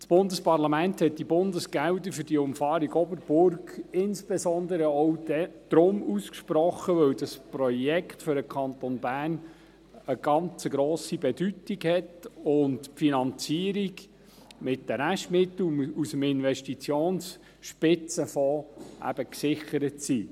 Das Bundesparlament hat diese Bundesgelder für die Umfahrung Oberburg insbesondere auch deshalb gesprochen, weil dieses Projekt für den Kanton Bern eine sehr grosse Bedeutung hat und die Finanzierung mit den Restmitteln aus dem Investitionsspitzenfonds eben gesichert ist.